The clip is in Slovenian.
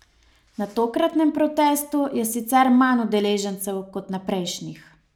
Na tokratnem protestu je sicer manj udeležencev kot na prejšnjih.